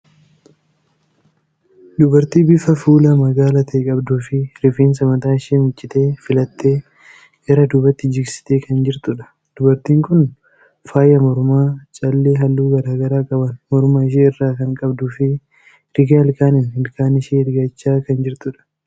Dubartii bifa fuulaa magaala ta'e qabduu fi rifeensa mataa ishee miiccitee, filattee gara duubaatti jigsitee kan jirtudha. Dubartiin kun faaya mormaa callee halluu garaa garaa qaban morma ishee irraa kan qabduu fi rigaa ilkaaniin ilkaan ishee rigachaa kan jirtudha.